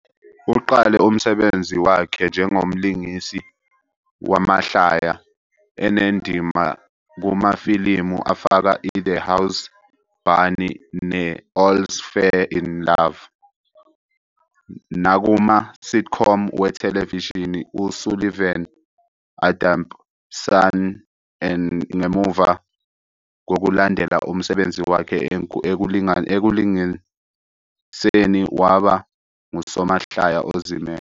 Uqale umsebenzi wakhe njengomlingisi wamahlaya, enendima kumafilimu afaka "iThe House Bunny" ne- "All's Faire in Love", nakuma- sitcom "wethelevishini uSullivan and Son. N"gemuva kokulandela umsebenzi wakhe ekulingiseni waba ngusomahlaya ozimele.